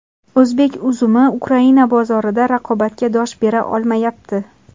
O‘zbek uzumi Ukraina bozorida raqobatga dosh bera olmayapti.